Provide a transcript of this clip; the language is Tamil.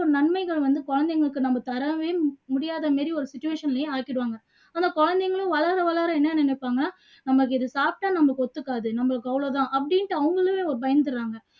நன்மைகள் வந்து குழந்தைங்களுக்கு தராமையே முடியாத மாதிரி ஒரு situation லயே ஆக்கிடுவாங்க ஆனா குழந்தைங்களும் வளர வளர என்ன நினைப்பாங்க நமக்கு இது சாப்பிட்டா நமக்கு ஒத்துக்காது நம்மளுக்கு அவ்ளோ தான் அப்படின்னுட்டு அவங்களாவே பயந்துடுறாங்க